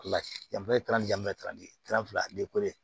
Yanfan ye fila